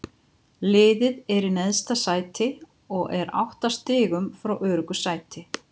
Liðið er í neðsta sæti og er átta stigum frá öruggu sæti.